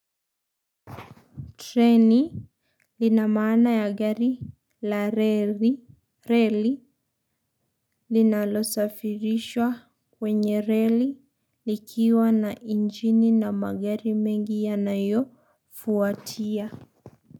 Treni lina msana ya gari la rally linalosafirishwa kwenye rally likiwa na injini na magari mengi yanayofuatia.